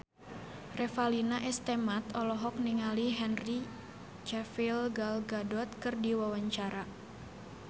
Revalina S. Temat olohok ningali Henry Cavill Gal Gadot keur diwawancara